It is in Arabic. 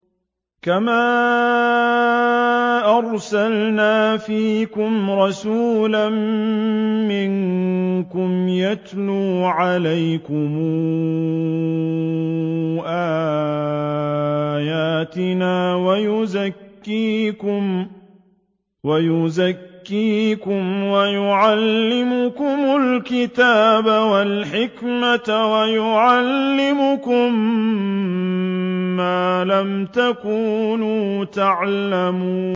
كَمَا أَرْسَلْنَا فِيكُمْ رَسُولًا مِّنكُمْ يَتْلُو عَلَيْكُمْ آيَاتِنَا وَيُزَكِّيكُمْ وَيُعَلِّمُكُمُ الْكِتَابَ وَالْحِكْمَةَ وَيُعَلِّمُكُم مَّا لَمْ تَكُونُوا تَعْلَمُونَ